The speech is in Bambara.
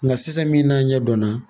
Nka sisan min n'an ɲɛ dɔn na.